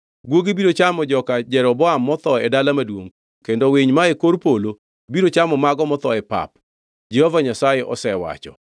Guogi biro chamo joka Jeroboam motho e dala maduongʼ kendo winy mae kor polo biro chamo mago motho e pap. Jehova Nyasaye osewacho!’